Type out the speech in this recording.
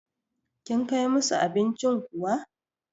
Kin Kai musu abincin kuwa?